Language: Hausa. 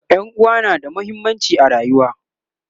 ƴan'uwa na da muhimmanci a rayuwa